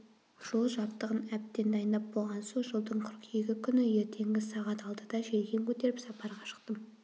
жол жабдығын әбден дайындап болған соң жылдың қыркүйегі күні ертеңгі сағат алтыда желкен көтеріп сапарға шықтым